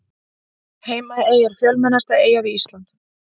Heimaey er fjölmennasta eyjan við Ísland.